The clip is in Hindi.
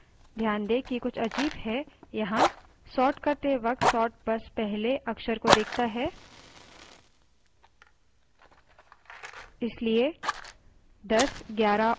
ध्यान दें कि कुछ अजीब है यहाँ sort करते वक्त sort बस पहले अक्षर को देखता है इसलिए 1011 & 12 number 2 के पहले at है